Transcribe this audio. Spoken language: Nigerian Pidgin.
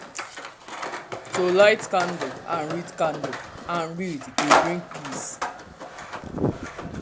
to light candle and read candle and read dey bring peace.